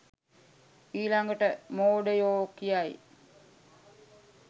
ඊලගට මෝඩයෝ කියයි